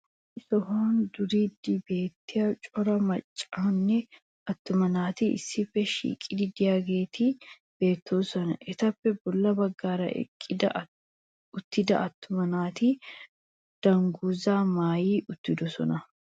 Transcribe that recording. issi sohuwan duriidi beetiya cora macanne attumma naati issippe shiiqidi diyaageeti beettoosona. etappe bola baggaara eqqi uttida attuma naati danguzzaa maayyi uttidosona.